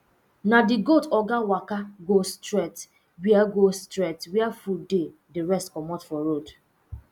na the goat oga waka go straight where go straight where food dey the rest comot for road